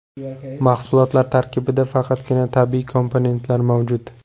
Mahsulot tarkibida faqatgina tabiiy komponentlar mavjud.